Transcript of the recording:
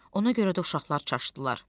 Ona görə də uşaqlar çaşdılar.